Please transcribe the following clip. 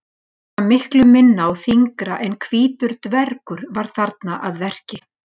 Eitthvað miklu minna og þyngra en hvítur dvergur var þarna að verki.